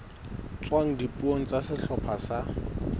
tswang dipuong tsa sehlopha sa